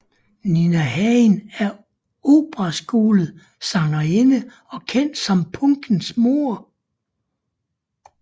Nina Hagen er operaskolet sangerinde og kendt som punkens mor